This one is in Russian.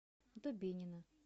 дубинина